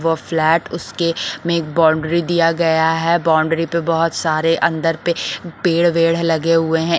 वो फ्लैट उसके में एक बाउंड्री दिया गया है बाउंड्री पे बहुत सारे अंदर पे पेड़ वेड लगे हुए हैं।